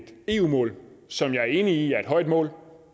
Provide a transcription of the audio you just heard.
eu mål som jeg er enig i er et højt mål